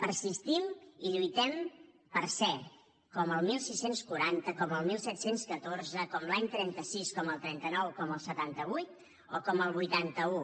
persistim i lluitem per ser com el setze quaranta com el disset deu quatre com l’any trenta sis com el trenta nou com el setanta vuit o com el vuitanta un